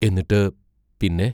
എന്നിട്ടു പിന്നെ?